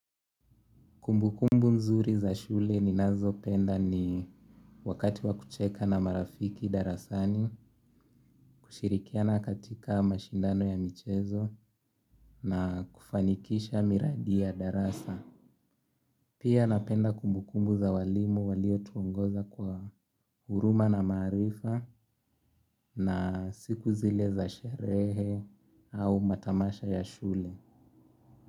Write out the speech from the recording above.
Kumbukumbu mzuri za shule ninazo penda ni wakati wakucheka na marafiki darasani, kushirikiana katika mashindano ya michezo na kufanikisha miradi ya darasa. Pia napenda kumbukumbu za walimu walio tuongoza kwa huruma na marifa na siku zile za sherehe au matamasha ya shule.